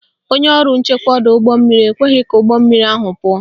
Onye ọrụ nchekwa ọdọụgbọmmiri ekweghị ka ụgbọmmiri ahụ pụọ